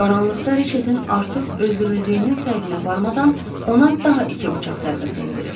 Qaranlıqda Riçetin artıq öldürüldüyünün fərqinə varmadan ona daha iki bıçaq zərbəsi endirir.